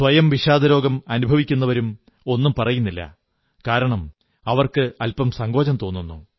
സ്വയം വിഷാദരോഗം അനുഭവിക്കുന്നവരും ഒന്നും പറയുന്നില്ല കാരണം അവർക്കല്പം സങ്കോചം തോന്നുന്നു